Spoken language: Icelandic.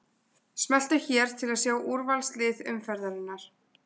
Smelltu hér til að sjá úrvalslið umferðarinnar